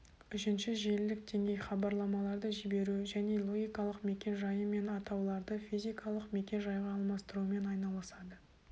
үшінші желілік деңгей хабарламаларды жіберу және логикалық мекен-жайы мен атауларды физикалық мекен-жайға алмастырумен айналысады